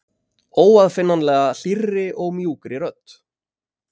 Óaðfinnanlega, hlýrri og mjúkri rödd.